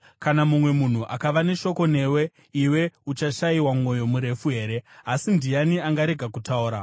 “Kana mumwe munhu akava neshoko newe, iwe uchashayiwa mwoyo murefu here? Asi ndiani angarega kutaura?